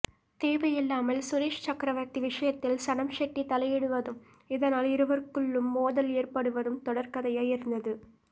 தேவையில்லாமல் சுரேஷ் சக்கரவர்த்தி விஷயத்தில் சனம் ஷெட்டி தலையிடுவதும் இதனால் இருவருக்குள்ளும் மோதல் ஏற்படுவதும் தொடர் கதையாய் இருந்தது